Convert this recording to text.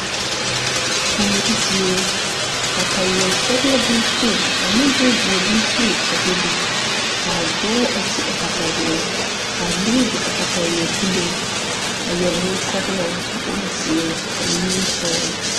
Kuori zie kataweɛ sɔglɔ bonkpoŋ ane bonzeɛ bonkpoŋ a bebe kaa dɔɔ a ti a kataweɛ kaa nobɔ be a kataweɛ puliŋ a yɛre bonsɔglɔ bonzeere eŋ nimikyaane.